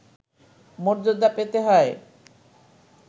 মর্যাদা পেতে হয়